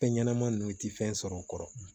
Fɛn ɲɛnɛma nunnu ti fɛn sɔrɔ n kɔrɔ